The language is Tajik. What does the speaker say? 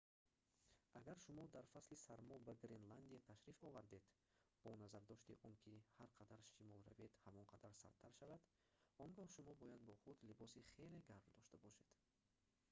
агар шумо дар фасли сармо ба гренландия ташриф овардед бо назардошти он ки ҳар қадар шимол равед ҳамон қадар сардтар шавад он гоҳ шумо бояд бо худ либоси хеле гарм дошта бошед